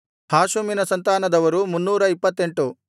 ಹಾಷುಮಿನ ಸಂತಾನದವರು 328